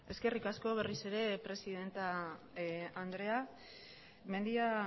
eskerrik asko berriz ere presidente andrea mendia